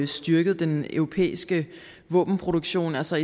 styrket den europæiske våbenproduktion altså